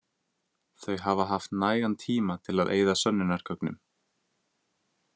Þau hafa haft nægan tíma til að eyða sönnunargögnum.